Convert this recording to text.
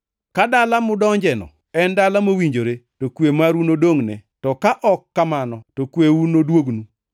Ka dala mudonjeno en dala mowinjore, to kwe maru nodongʼne, to ka ok kamano, to kweuno noduognu.